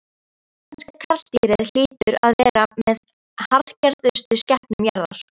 Íslenska karldýrið hlýtur að vera með harðgerðustu skepnum jarðar.